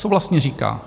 Co vlastně říká?